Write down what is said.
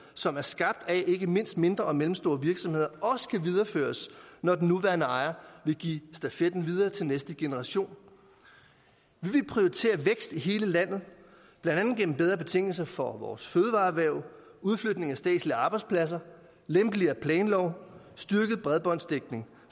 som er skabt af ikke mindst mindre og mellemstore virksomheder også kan videreføres når den nuværende ejer vil give stafetten videre til næste generation vi vil prioritere vækst i hele landet blandt andet gennem bedre betingelser for vores fødevareerhverv udflytning af statslige arbejdspladser lempeligere planlov styrket bredbåndsdækning